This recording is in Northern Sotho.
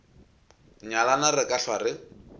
nyalane re ka hlwa re